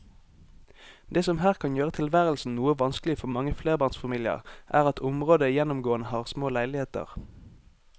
Det som her kan gjøre tilværelsen noe vanskelig for mange flerbarnsfamilier er at området gjennomgående har små leiligheter.